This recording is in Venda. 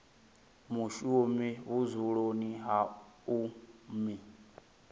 mushumi vhudzuloni ha u mu